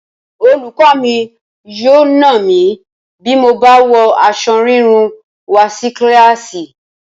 Olùkọ́ mi yóò nà mí bí mo bá wọ aṣọ rírún wá sí kíláàsì